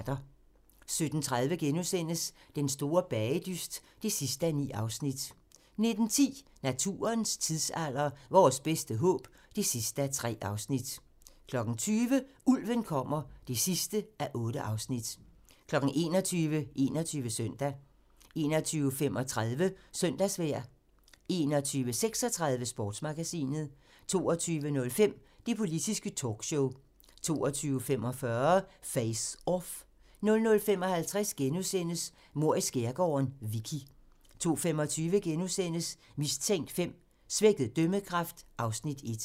17:30: Den store bagedyst (9:9)* 19:10: Naturens tidsalder - Vores bedste håb (3:3) 20:00: Ulven kommer (8:8) 21:00: 21 Søndag 21:35: Søndagsvejr 21:36: Sportsmagasinet 22:05: Det politiske talkshow 22:45: Face Off 00:55: Mord i skærgården: Vicky * 02:25: Mistænkt V: Svækket dømmekraft (Afs. 1)*